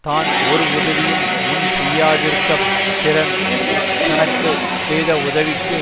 தான் ஓர் உதவியும் முன் செய்யாதிருக்கப் பிறன் தனக்கு செய்த உதவிக்கு